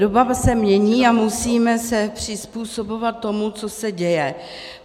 Doba se mění a musíme se přizpůsobovat tomu, co se děje.